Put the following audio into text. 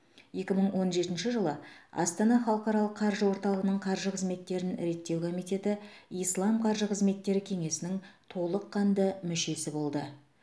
екі мың он жетінші жылы астана халықаралық қаржы орталығының қаржы қызметтерін реттеу комитеті ислам қаржы қызметтері кеңесінің толыққанды мүшесі болды